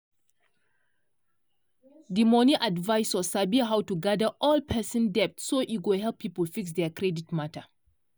di money advisor sabi how to gather all person debt so e go help people fix their credit matter.